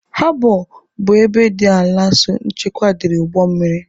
Habọ bụ ebe dị ala nso nchekwa dịrị ụgbọ mmiri.